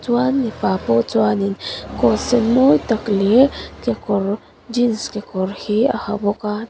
chuan mipa pawh chuanin coat sen mawi tak leh kekawr jeans kekawr hi a ha bawk a.